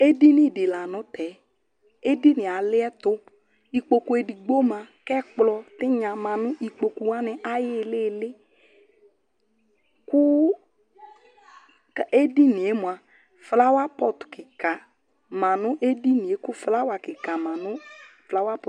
edini di lantɛ edini yɛ aliɛto ikpoku edigbo ma k'ɛkplɔ tinya ma no ikpoku wani ayi ilili kò edini yɛ moa flawa pɔt keka ma no edini yɛ kò flawa keka ma no flawa pɔt